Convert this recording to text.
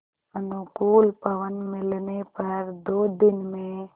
अनुकूल पवन मिलने पर दो दिन में